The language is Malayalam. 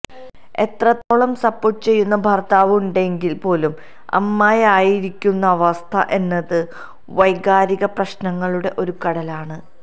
എത്രത്തോളം സപ്പോര്ട്ട് ചെയ്യുന്ന ഭര്ത്താവ് ഉണ്ടെങ്കില് പോലും അമ്മയായിരിക്കുന്ന അവസ്ഥ എന്നത് വൈകാരികപ്രശ്നങ്ങളുടെ ഒരു കടലാണ്